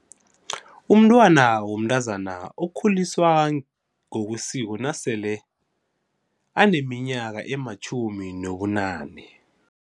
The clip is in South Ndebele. Umntwana womntazana ukhuliswa ngokwesiko nasele aneminyaka ematjhumi nobunane.